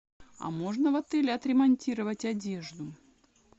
а можно в отеле отремонтировать одежду